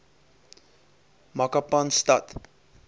makapanstad